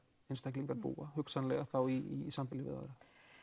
einstaklingar búa hugsanlega þá í sambýli með öðrum